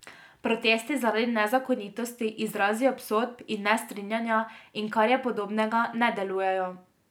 Protesti zaradi nezakonitosti, izrazi obsodb in nestrinjanja in kar je podobnega ne delujejo.